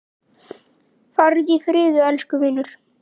Farðu í friði, elsku vinur.